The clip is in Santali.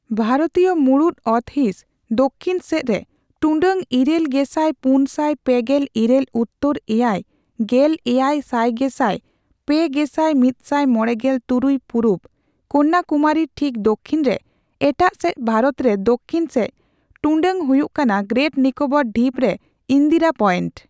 ᱵᱷᱟᱨᱚᱛᱤᱭ ᱢᱩᱲᱩᱫ ᱚᱛ ᱦᱤᱸᱥ ᱫᱚᱠᱠᱷᱤᱱ ᱥᱮᱪᱨᱮ ᱴᱩᱰᱟᱹᱜ ᱤᱨᱟᱹᱞᱜᱮᱥᱟᱭ ᱯᱩᱱᱥᱟᱭ ᱯᱮᱜᱮᱞ ᱤᱨᱟᱹᱞ ᱩᱛᱛᱚᱨ ᱮᱭᱟᱭ ᱜᱮᱞ ᱮᱭᱟᱭ ᱥᱟᱭᱜᱮᱥᱟᱭ ᱯᱮᱜᱮᱥᱟᱭ ᱢᱤᱛᱥᱟᱭ ᱢᱚᱲᱮᱜᱮᱞ ᱛᱩᱨᱩᱭ ᱯᱩᱨᱩᱵ) ᱠᱚᱱᱭᱟᱠᱩᱢᱟᱨᱤ ᱴᱷᱤᱠ ᱫᱚᱠᱠᱷᱤᱱ ᱨᱮ, ᱮᱴᱟᱜ ᱥᱮᱪ ᱵᱷᱟᱨᱚᱛ ᱨᱮ ᱫᱚᱠᱠᱷᱤᱱ ᱥᱮᱪ ᱴᱩᱰᱟᱹᱜ ᱦᱩᱭᱩᱜ ᱠᱟᱱᱟ ᱜᱨᱮᱴ ᱱᱤᱠᱳᱵᱚᱨ ᱰᱷᱤᱯ ᱨᱮ ᱤᱱᱫᱤᱨᱟ ᱯᱚᱭᱮᱱᱴ᱾